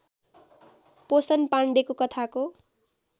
पोषण पाण्डेको कथाको